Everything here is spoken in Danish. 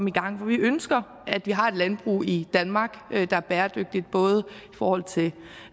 i gang for vi ønsker at vi har et landbrug i danmark der er bæredygtigt både i forhold til